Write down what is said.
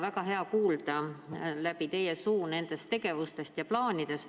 Väga hea on kuulda teie suust nende tegevuste ja plaanide kohta.